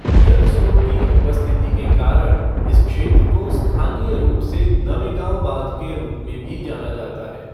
जल स्रोत की उपस्थिति के कारण इस क्षेत्र को स्थानीय रूप से नवेगांव बांध के रूप में भी जाना जाता है।